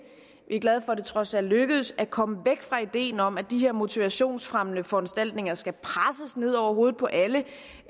vi er glade for at det trods alt lykkedes at komme væk fra ideen om at de her motivationsfremmende foranstaltninger skal presses ned over hovedet på alle